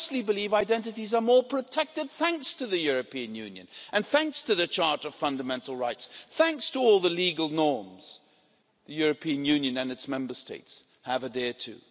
I honestly believe identities are more protected thanks to the European Union, thanks to the Charter of Fundamental Rights, and thanks to all the legal norms that the European Union and its Member States have adhered to.